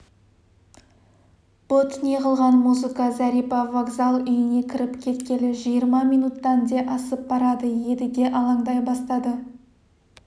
бұд неғылған музыка зәрипа вокзал үйіне кіріп кеткелі жиырма минуттан де асып барады едіге алаңдай бастады